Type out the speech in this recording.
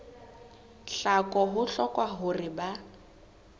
tlhaho ho hlokwa hore ba